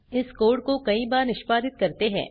इस कोड़ को कई बार निष्पादित करते हैं